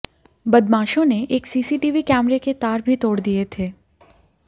बदमाशों ने एक सीसीटीवी कैमरे के तार भी तोड़ दिए थे